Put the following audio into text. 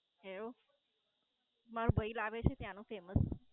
એવું, મારો ભઈ લાવે છે ત્યાંનું Famous